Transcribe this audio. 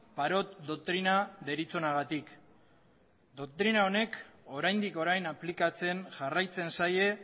parot doktrina deritzonagatik doktrina honek oraindik orain aplikatzen jarraitzen zaie